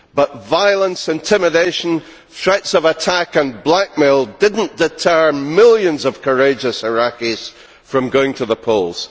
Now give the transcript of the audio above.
However, violence, intimidation, threats of attack and blackmail did not deter millions of courageous Iraqis from going to the polls.